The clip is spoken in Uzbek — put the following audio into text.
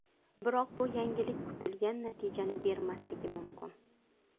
Biroq bu yangilik kutilgan natijani bermasligi mumkin.